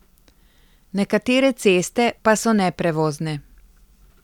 Nekatere ceste pa so neprevozne.